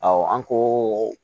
an ko